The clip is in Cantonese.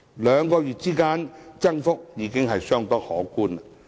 兩個月間的增幅已相當可觀。